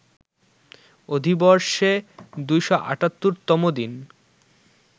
অধিবর্ষে ২৭৮ তম দিন